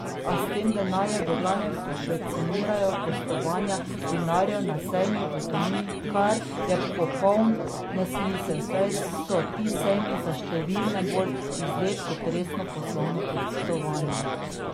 A s tem denarjem v glavnem subvencionirajo gostovanja vinarjev na sejmih v tujini, kar je popoln nesmisel, saj so ti sejmi za številne bolj izlet kot resno poslovno potovanje.